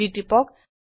G টিপক